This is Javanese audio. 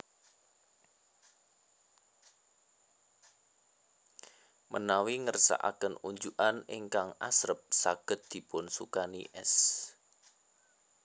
Menawi ngersakaken unjukan ingkang asrep saged dipun sukani es